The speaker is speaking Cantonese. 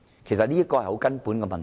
這是很根本的問題。